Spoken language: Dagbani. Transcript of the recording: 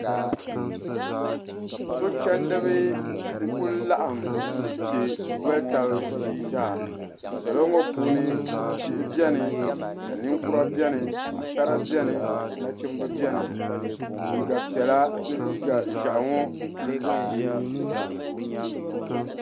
Sochendiba n kuli laɣim mpiɛ n doli taba ʒiizaa salo ŋɔ puuni bihi biɛni ka ninkura biɛni Paɣasara biɛni nachimba biɛni liiga piɛla ni liiga ʒehi ŋɔ n kuli dee ʒiizaa.